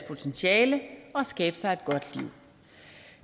potentiale og skabe sig et godt liv